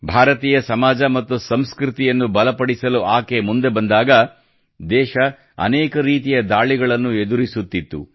ಭಾರತೀಯ ಸಮಾಜ ಮತ್ತು ಸಂಸ್ಕೃತಿಯನ್ನು ಬಲಪಡಿಸಲು ಆಕೆ ಮುಂದೆ ಬಂದಾಗ ದೇಶ ಅನೇಕ ರೀತಿಯ ದಾಳಿಗಳನ್ನು ಎದುರಿಸುತ್ತಿತ್ತು